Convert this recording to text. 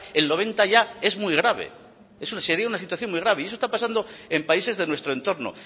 el noventa ya es muy grave sería una situación muy grave y eso está pasando en países de nuestro entorno